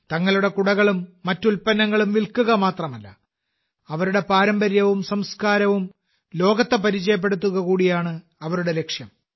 തങ്ങളുടെ കുടകളും മറ്റ് ഉൽപ്പന്നങ്ങളും വിൽക്കുക മാത്രമല്ല അവരുടെ പാരമ്പര്യവും സംസ്കാരവും ലോകത്തെ പരിചയപ്പെടുത്തുക കൂടിയാണ് അവരുടെ ലക്ഷ്യം